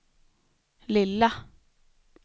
lilla